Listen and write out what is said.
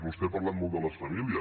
vostè ha parlat molt de les famílies